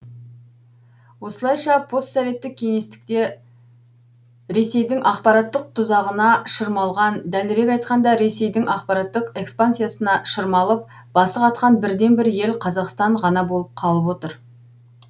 осылайша постсоветтік кеңістікте ресейдің ақпараттық тұзағына шырмалған дәлірек айтқанда ресейдің ақпараттық экспансиясына шырмалып басы қатқан бірден бір ел қазақстан ғана болып қалып отыр